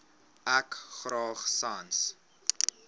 ek graag sans